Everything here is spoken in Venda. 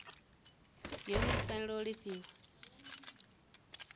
yone i fanela u lifhiwa